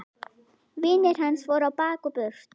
Vinir hans voru á bak og burt.